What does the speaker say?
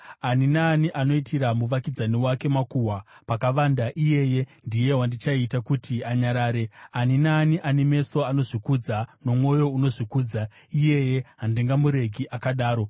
Ani naani anoitira muvakidzani wake makuhwa pakavanda, iyeye ndiye wandichaita kuti anyarare; ani naani ane meso anozvikudza nomwoyo unozvikudza, iyeye handingamuregi akadaro.